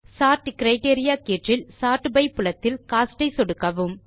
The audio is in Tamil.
சோர்ட் கிரைட்டீரியா கீற்றில் சோர்ட் பை புலத்தில் கோஸ்ட் ஐ சொடுக்கவும்